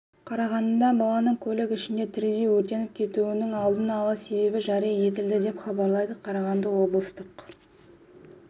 қарағандыда баланың көлік ішінде тірідей өртеніп кетуінің алдын ала себебі жария етілді деп хабарлайды қарағанды облыстық